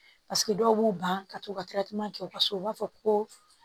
Paseke dɔw b'u ban ka t'u ka kɛ u ka so u b'a fɔ ko